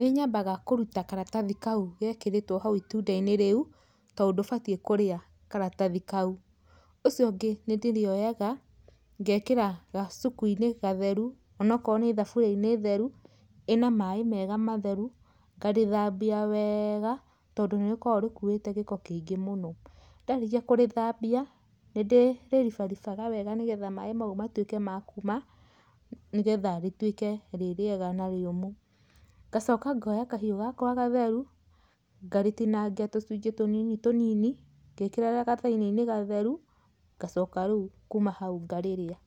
Nĩ nyambaga kũruta karatathi kau gekĩrĩtwwo hau itunda-inĩ rĩu tondu ndũbatiĩ kũrĩa karatathi kau. Ũcio ũngĩ nĩndĩrĩoyaga, ngekĩra gacuku-inĩ gatheru onokorwo nĩ thaburia-inĩ theru, ĩna maaĩ mega matheru, ngarĩthambia wega tondũ nĩrĩkoragwo rĩkuĩte gĩko kĩingĩ mũno. Ndarĩkia kũrĩthambia, nĩndĩrĩribaribaga wega nĩgetha maaĩ mau matuĩke ma kuuma nĩgetha rĩtuĩke rĩ rĩega na rĩũmũ. Ngacoka ngoya kahiũ gakwa gatheru, ngarĩtinangia tũcunjĩ tũnini tũnini ngĩkĩraga gathani-inĩ gatheru, ngacoka rĩu kuuma hau ngarĩrĩa.